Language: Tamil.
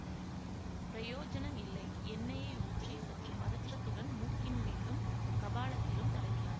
பிரயோஜனம் இல்லை எண்ணெயை ஊற்றிச் சற்று பதற்றத்துடன் மூக்கின் மேலும் கபாலத்திலும் தடவினார்